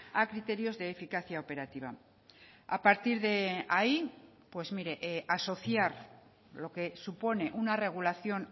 a criterios de eficacia operativa a partir de ahí pues mire asociar lo que supone una regulación